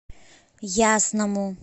ясному